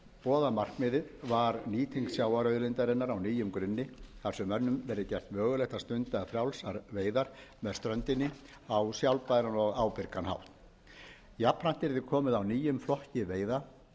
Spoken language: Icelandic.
boðaða markmiðið var nýting sjávarauðlindarinnar á nýjum grunni þar sem mönnum verði gert mögulegt að stunda frjálsar veiðar með ströndinni á sjálfbæran og ábyrgan hátt jafnframt yrði komið á nýjum flokki veiða svokölluðum